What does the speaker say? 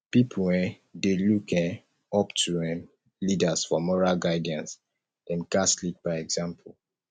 pipo um dey look um up to um leaders for moral guidance dem gatz lead by example